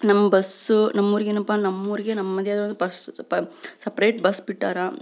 ನಮ್ ಬಸ್ಸು ನಮ್ ಊರಿಗೆ ಏನಪ ನಮ್ ಊರಿಗೆ ನಮೆದೆ ಬಸ್ ಸಪರೇಟ್ ಬಸ್ ಬಿಟ್ಟರಾ